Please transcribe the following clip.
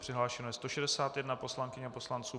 Přihlášeno je 161 poslankyň a poslanců.